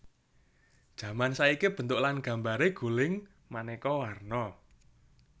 Jaman saiki bentuk lan gambaré guling manéka warna